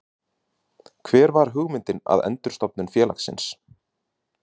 Hver var hugmyndin að endurstofnun félagsins?